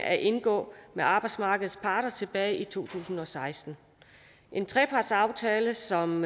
at indgå med arbejdsmarkedets parter tilbage i to tusind og seksten en trepartsaftale som